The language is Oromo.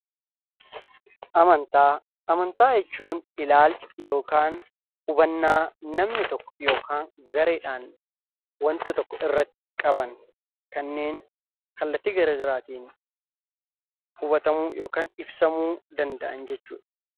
Amantaa jechuun ilaalcha yookaan hubannaa namni tokko yookaan gareedhaan waanta tokko irratti qaban kanneen kallattii garaa garaatiin hubatamuu yookaan ibsamuu danda'an jechuudha.